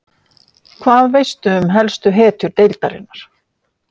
Hvað veistu um helstu hetjur deildarinnar?